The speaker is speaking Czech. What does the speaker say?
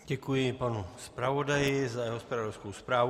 Děkuji panu zpravodaji za jeho zpravodajskou zprávu.